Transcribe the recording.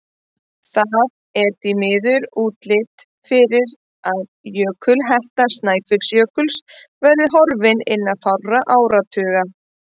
Það er því miður útlit fyrir að jökulhetta Snæfellsjökuls verði horfin innan fárra áratuga.